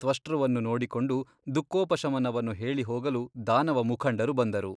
ತ್ವಷ್ಟೃವನ್ನು ನೋಡಿಕೊಂಡು ದುಃಖೋಪಶಮನವನ್ನು ಹೇಳಿ ಹೋಗಲು ದಾನವಮುಖಂಡರು ಬಂದರು.